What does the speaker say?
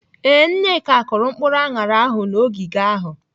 Ee, Nneka kụrụ mkpụrụ aṅara ahụ n'ogige ahụ.